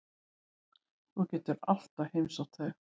Þú getur alltaf heimsótt þau.